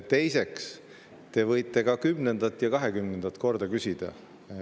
Teiseks, te võite ka kümnendat ja kahekümnendat korda küsida.